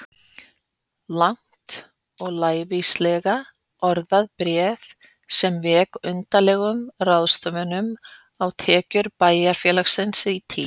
Langt og lævíslega orðað bréf sem vék að undarlegum ráðstöfunum á tekjum bæjarfélagsins í tíð